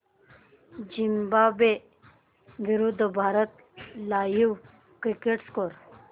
Zimbabwe विरूद्ध Bharat live cricket score